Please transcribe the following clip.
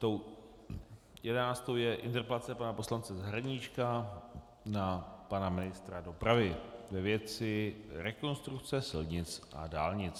Tou jedenáctou je interpelace pana poslance Zahradníčka na pana ministra dopravy ve věci rekonstrukce silnic a dálnic.